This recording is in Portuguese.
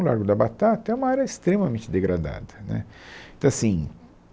O Largo da Batata é uma área extremamente degradada, né, então assim